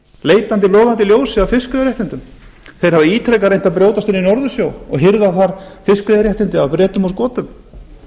leitandi logandi ljósi að fiskveiðiréttindum þeir hafa ítrekað reynt að brjótast inn í norðursjó og hirða þar fiskveiðiréttindi af bretum og skotum